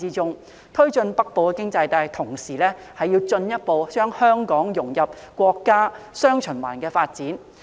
在推進"北部經濟帶"的同時，亦要進一步將香港融入國家"雙循環"的發展。